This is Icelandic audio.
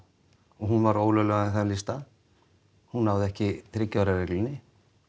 og hún var ólöglega þeim lista hún náði ekki þriggja ára reglunni